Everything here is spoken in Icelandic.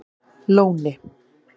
Lóni